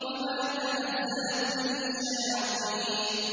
وَمَا تَنَزَّلَتْ بِهِ الشَّيَاطِينُ